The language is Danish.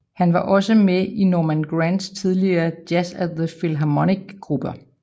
Han var også med i Norman Granz tidlige Jazz at the Philharmonic grupper